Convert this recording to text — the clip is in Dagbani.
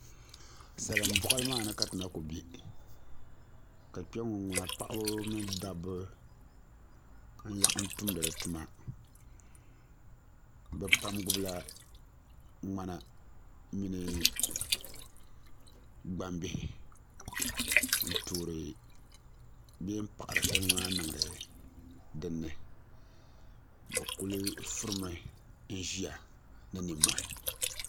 Salin boɣali maa ni ka ti na ku bɛ ka kpɛŋŋo ŋuna paɣaba mini dabba n laɣam tumdi di tuma bi pam gbubila ŋmana mini gbambihi n toori bee n paɣari salima maa niŋdi dinni bi kuli furimi n ʒiya ni nimmohi